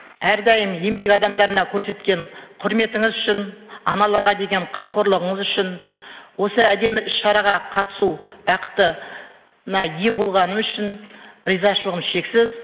әрдайым еңбек адамдарына көрсеткен құрметіңіз үшін аналарға деген қамқорлығыңыз үшін осы әдемі іс шараға қатысу бақытына ие болғаным үшін ризашылығым шексіз